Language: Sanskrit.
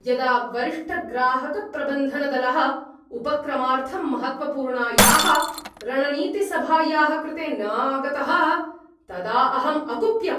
यदा वरिष्ठग्राहकप्रबन्धनदलः उपक्रमार्थं महत्त्वपूर्णायाः रणनीतिसभायाः कृते न आगतः तदा अहम् अकुप्यम्।